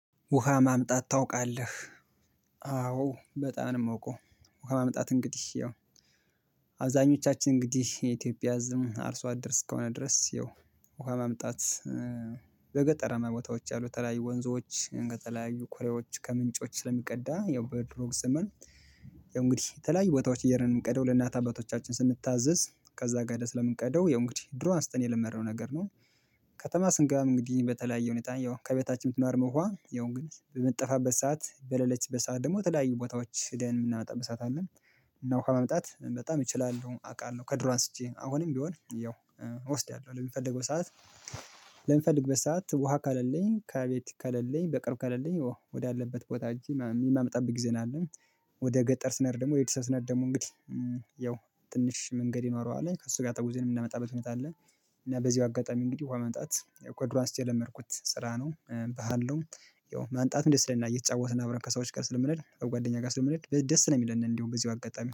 ውሃ ማምጣት ታውቃለህ አዎ በጣም ነው የምወቀው። ውሃ ማምጣት እንግዲህ ያው አብዛኞቻችን እንግዲህ የኢትዮጵያ ህዝብም አርሶ አደር እስከሆነ ድረስ ያው ውሃ መምጣት። በገጠራማ ቦታዎች ያሉ ተለያዩ ወንዞች እንደ ተለያዩ ኮሬዎች ከምንጮች ስለሚቀዳ ያው በድሮ ዘመን። ያው እንግዲህ የተለያዩ ቦታዎች እየሄድን የምንቀደው ለእናት አባቶቻችን ስንታዘዝ ከዛ ጋር ለምን ቀደው የምንቀደው የምንቀደው ድሮ አንስተን የለመደው ነገር ነው። ከተማ ስንገባም እንግዲህ በተለያየ ሁኔታ ያው ከቤታችን ብትኖርም ውሃ ያው እንግዲህ ግን በምትጠፋበት ሰዓት በለለች በሰአት ደግሞ ተለያዩ ቦታዎች ህደን ምናመጣበት ሰዓት አለ። ዉሃ ከመምጣት በጣም እችላለሁ አውቃለሁ ከድሮ አንስቼ አሁንም ቢሆን ያው እወስዳለሁ ለሚፈልገው ሰዓት። በምፈልግበት ሰዓት ውሃ ክሌለኝ ከቤት ከሌለኝ በቅርብ ከሌለኝ ወደ አለበት ቦታ ሄጄ የማመጣብት ጊዜ ነው ያለው። ወደ ገጠር ስንሄድ ደግሞ ቤተሰብ ስንሄድ ደግሞ እንግዲህ ያው ትንሽ መንገድ ይኖረዋል ከሱ ጋር ተጉዘን የምናመጣበት ሁኔታ አለ። እና በዚሁ አጋጣሚ እንግዲህ ውሃ ማምጣት ከድሮ አንስቼ የለመድኩት ስራ ነው ባህል ነው። ያው ማምጣቱ ደስ ይለናል እየተጫወትን አብረን ከሰዎች ጋር ስለምሄድ ከጓደኛ ጋር ስለምሄ ደስ ነው የሚለን እንደውም በዚሁ አጋጣሚ